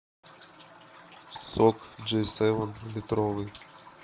сок джей севен литровый